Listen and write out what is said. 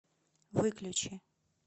выключи